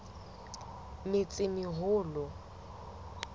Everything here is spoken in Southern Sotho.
metsimaholo